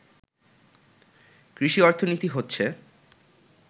কৃষি অর্থনীতি হচ্ছে